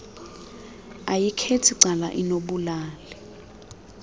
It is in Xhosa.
ayikhethi cala inobulali